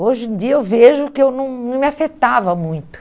Hoje em dia eu vejo que eu não não me afetava muito.